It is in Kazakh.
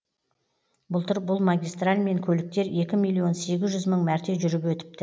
былтыр бұл магистральмен көліктер екі миллион сегіз жүз мың мәрте жүріп өтіпті